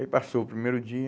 Aí passou o primeiro dia.